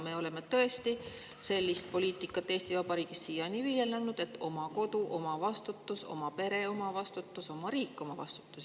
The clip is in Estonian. Me oleme tõesti Eesti Vabariigis siiani viljelnud sellist poliitikat, et oma kodu, oma vastutus; oma pere, oma vastutus; oma riik, oma vastutus.